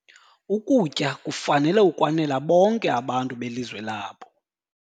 Ukutya kufanele ukwanela bonke abantu belizwe labo.